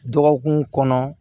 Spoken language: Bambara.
Dɔgɔkun kɔnɔ